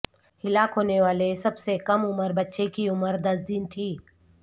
ہلاک ہونے والے سب سے کم عمر بچے کی عمر دس دن تھی